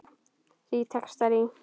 Þrír textar í